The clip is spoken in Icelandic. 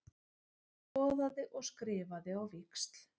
Skoðaði og skrifaði á víxl.